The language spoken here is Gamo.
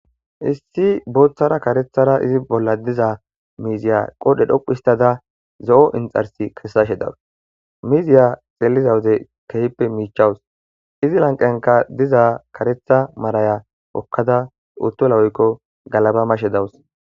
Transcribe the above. Issi booththara karethara izi bolla diza miiziya qodhe dhoquistada zo7o inxarsi kessashe dawus miziya xeelizawude kehppe miichawus izi lanqenka diza karetha maraya okkada uttola oykko galaba mashe dawus.